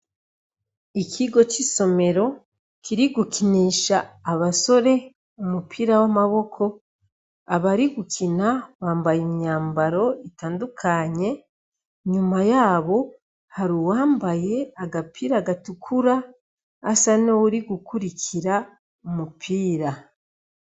Ikigo c'isomero kiriko gikinisha abasore umupira w'amaboko, abari gukina bambaye imyambaro utadukanye, inyuma yabo hari uwambaye agapira gatukura asa nuwuri gukwirikira umupira.